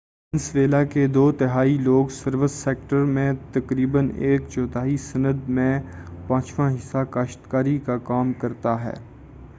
Venezuela کے دو تہائی لوگ سروس سیکٹر میں تقریبا ایک چوتھائی صنعت میں اور پانچواں حصّہ کاشتکاری کا کام کرتا ہے